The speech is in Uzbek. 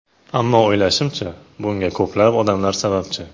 Ammo o‘ylashimcha, bunga ko‘plab odamlar sababchi.